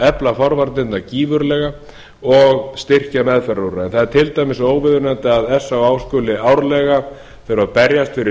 efla forvarnirnar gífurlega og styrkja meðferðarúrræði það er til dæmis óviðunandi að s á á skuli árlega þurfa að berjast fyrir